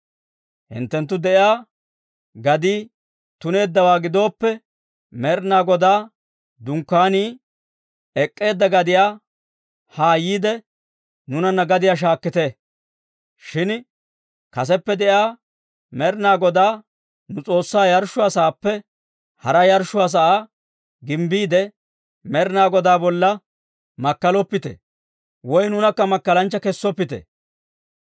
Hinttenttu de'iyaa gadii tuneeddawaa gidooppe, Med'ina Godaa Dunkkaanii ek'k'eedda gadiyaa haa yiide, nuunanna gadiyaa shaakkite. Shin kaseppe de'iyaa Med'ina Godaa nu S'oossaa yarshshuwaa sa'aappe hara yarshshuwaa sa'aa gimbbiide, Med'ina Godaa bolla makkaloppite; woy nuunakka makkalanchcha kessoppite.